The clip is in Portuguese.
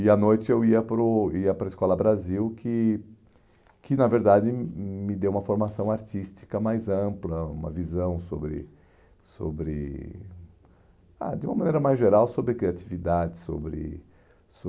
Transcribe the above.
E à noite eu ia para o ia para a Escola Brasil, que que na verdade me deu uma formação artística mais ampla, uma visão sobre sobre ah de uma maneira mais geral sobre criatividade, sobre